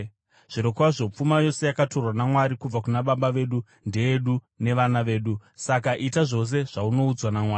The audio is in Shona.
Zvirokwazvo pfuma yose yakatorwa naMwari kubva kuna baba vedu ndeyedu nevana vedu. Saka ita zvose zvaunoudzwa naMwari.”